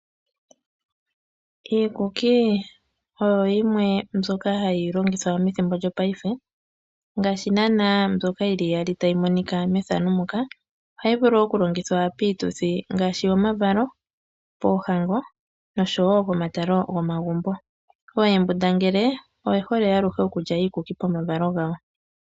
Iikuki oyo yimwe mbyoka hayi longithwa methimbo lyopaife. Ohayi vulu okulongithwa piituthi ngaashi yomavalo, poohango noshowo omatalo gomagumbo. Oohembundangele oye hole aluhe okulya iikuki pomavalo gawo.